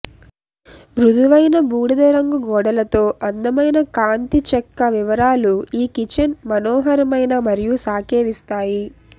మృదువైన బూడిద రంగు గోడలతో అందమైన కాంతి చెక్క వివరాలు ఈ కిచెన్ మనోహరమైన మరియు సాకేవిస్తాయి